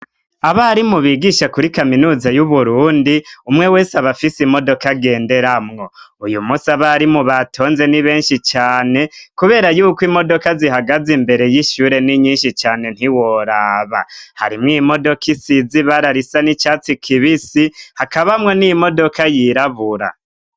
Abarimu bigisha kuri kaminuza y'Uburundi, umwe wese abafise imodoka agenderamwo, uyu musi abarimu batonze n'ibenshi cane ,kubera yuko imodoka zihagaze imbere y'ishure n'inyinshi cane ntiworaba ,harimwo imodoka isiz'ibara risa n'icatsi kibisi ,hakabamwo n'imodoka yirabura.